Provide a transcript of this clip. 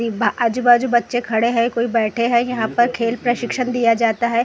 एक बा आजु बाजू बच्चे खड़े हैं कोई बैठे हैं यहाँ पर खेल प्रशिक्षण दिया जाता है।